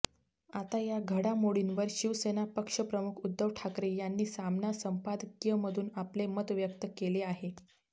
आता या घडामोडींवर शिवसेना पक्षप्रमुख उद्धव ठाकरे यांनी सामना संपादकीयमधून आपले मत व्यक्त केले आहे